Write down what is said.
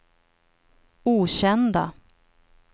okända